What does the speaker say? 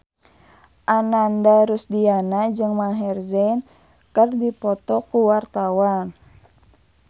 Ananda Rusdiana jeung Maher Zein keur dipoto ku wartawan